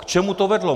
K čemu to vedlo?